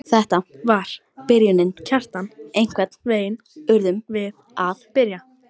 Þetta var byrjunin, Kjartan, einhvern veginn urðum við að byrja.